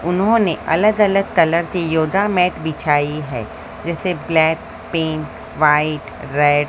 उन्होंने अलग अलग कलर की योगा मैट बिछाई है जैसे ब्लैक पिंक व्हाइट रेड --